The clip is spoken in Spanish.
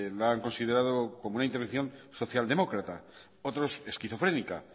la han considerado como una intervención socialdemócrata otros esquizofrénica